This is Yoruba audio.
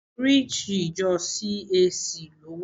Oríṣi ìjọ CAC ló wà.